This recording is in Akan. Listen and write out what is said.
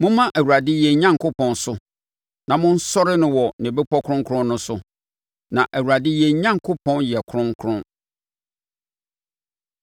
Momma Awurade yɛn Onyankopɔn so na monsɔre no wɔ ne bepɔ kronkron no so, na Awurade yɛn Onyankopɔn yɛ kronkron.